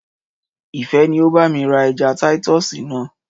Ìfẹ́ ni o bá mi ra ẹja títọ̀sì náà.